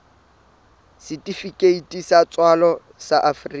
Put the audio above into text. setifikeiti sa tswalo sa afrika